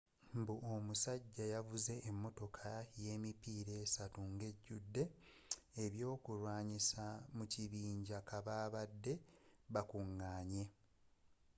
mbu omusajja yavuze emotoka yemipiira essatu ngejjude ebyokulwanyisa mu kabinja kababade bakunganye